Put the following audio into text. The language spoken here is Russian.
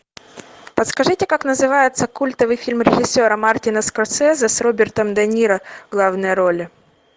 подскажите как называется культовый фильм режиссера мартина скорсезе с робертом де ниро в главной роли